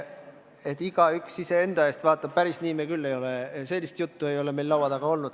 Et igaüks iseenda eest vastutab – päris niisugust juttu ei ole meil laua taga olnud.